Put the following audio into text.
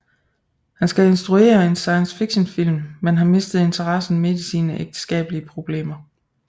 Han skal instruere en science fiction film men har mistet interessen midt i sine ægteskabelige problemer